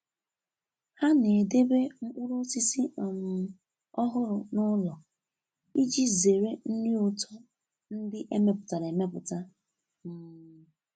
Ha na-edebe mkpụrụ osisi um ọhụrụ n'ụlọ iji zere nri ụtọ ndị emepụtara emepụta. um